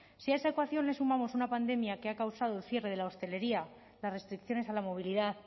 si a esa ecuación le sumamos una pandemia que ha causado el cierre de la hostelería las restricciones a la movilidad